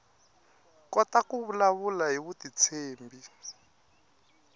kota ku vulavula hi vutitshembi